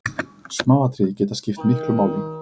Smáatriði geta skipt miklu máli.